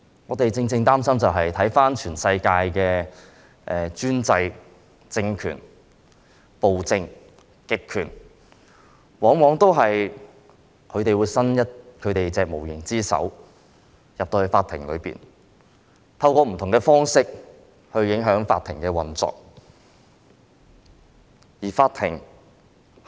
我們所以會擔心，是因為看到全世界的專制政權、暴政、極權往往向法庭伸出無形之手，透過不同方式影響法庭的運作。